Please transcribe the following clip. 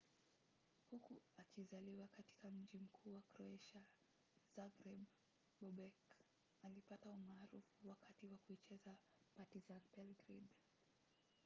huku akizaliwa katika mji mkuu wa kroatia zagreb bobek alipata umaarufu wakati wa kuichezea partizan belgrade